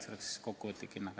See oleks kokkuvõtlik hinnang.